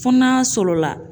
Fɔ n'a sɔrɔ la